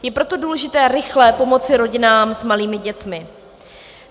Je proto důležité rychle pomoci rodinám s malými dětmi.